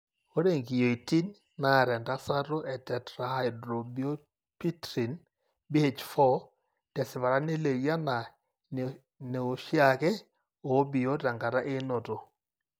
Ore inkiyioitin naata entasato etetrahydrobiopterin (BH4) tesipata nelioyu anaa ineoshiake obiot tenkata einoto.